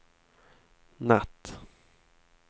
natt